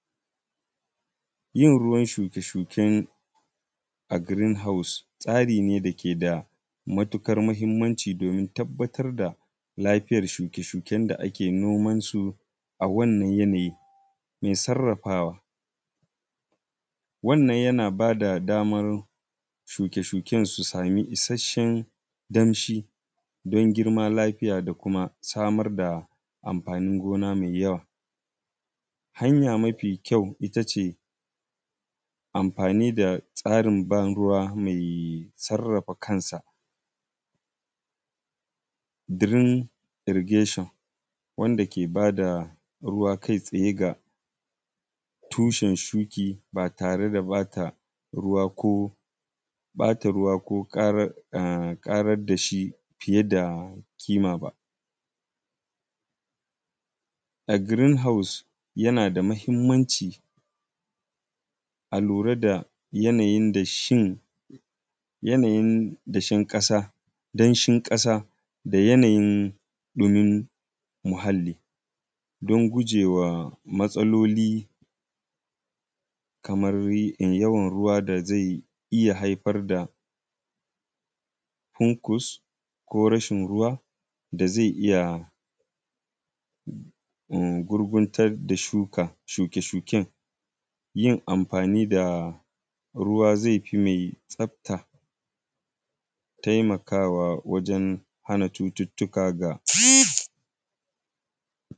Yin ruwan shuke-shuen a “green house”, tsari ne da ke da mutukar mahimmanci domin tabbatad da lafiayr shuke-shuken da ake noman su a wannan yanayi. Me sarrafawa, wannan yana ba da damar shuke-shuken su sami isasshen damshi don girma. lafiya da kuma samar da amfanin gona me yawa. Hanya mafi kyau ita ce, amfani da tsarin banruwa mei sarrafa kansa “green irrigation”, wanda ke ba da ruwa kai-tsaye ga tushen shuki ba tare da ba ta ruwa ko, ƃata ruwa ko ƙarar; a; ƙarad da shi fiye da kima ba. A “green house”, yana da mahimmanci a lura da yanayin da shin; yanayin dashin ƙasa, danshin ƙasa da yanayin ɗumin muhalli don guje wa matsaloli kamar y; in yawan ruwa da zai iya haifar da ‘hunkus’ ko rashin ruwa da ze iya m; gurguntad da shuka, shuke-shuken. Yin amfani da ruwa, ze fi mei tsafta, temakawa wajen hana cututtuka ga -.